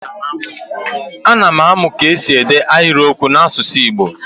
A na m amụ ka esi ede ahịrịokwu n'asụsụ Igbo.